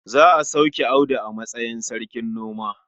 Za a sauke Audu a matsayin sarkin noma.